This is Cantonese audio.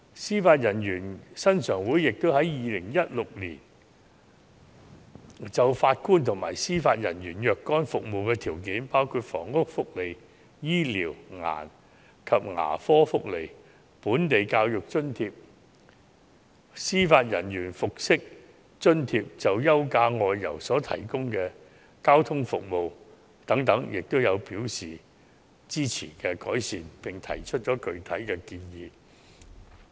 司法人員薪常會也於2016年就法官及司法人員的若干服務條件，包括房屋福利、醫療及牙科福利、本地教育津貼、司法人員服飾津貼及就休假外遊提供的交通服務等，表示支持改善，並提出具體建議。